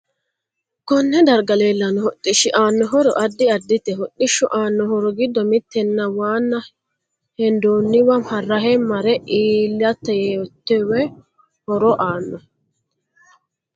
Konne darga leelanno hodhishi aano horo addi addite hodhishu aano horo giddo mittena waano hendooniwa rahe mare iilatatowo horo aano